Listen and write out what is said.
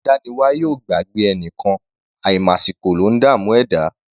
Adániwáyè ò gbàgbé ẹnìkan; àìmàsìkò ló ńdààmú ẹ̀dá.